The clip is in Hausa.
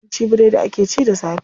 Yawanci biredi akw ci da safe.